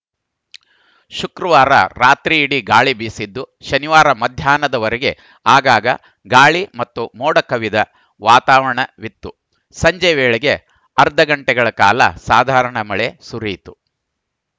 ಶುಕ್ರವಾರ ರಾತ್ರಿಯಿಡೀ ಗಾಳಿ ಬೀಸಿದ್ದು ಶನಿವಾರ ಮಧ್ಯಾಹ್ನದವರೆಗೆ ಆಗಾಗ ಗಾಳಿ ಮತ್ತು ಮೋಡಕವಿದ ವಾತವಾರಣವಿತ್ತು ಸಂಜೆ ವೇಳೆಗೆ ಅರ್ಧಗಂಟೆಗಳ ಕಾಲ ಸಾಧಾರಣ ಮಳೆ ಸುರಿಯಿತು